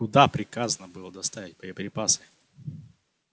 куда приказано было доставить боеприпасы